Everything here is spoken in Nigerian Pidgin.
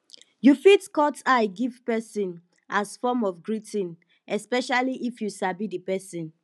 you fit cut eye give person as form of greeting especially if you sabi di person